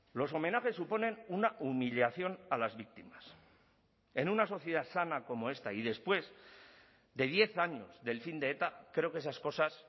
los homenajes suponen una humillación a las víctimas en una sociedad sana como esta y después de diez años del fin de eta creo que esas cosas